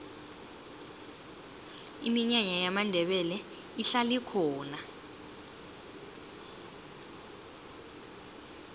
iminyanya yamandebele ihlala ikhona